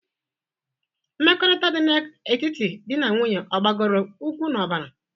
Mmekọrịta dị na etiti dị na nwunye ọ gbadoro ụkwụ n'ọbara?